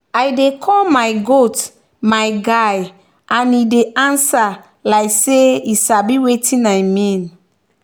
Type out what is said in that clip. i dey call my goat my guy and e dey answer like say e sabi wetin i mean.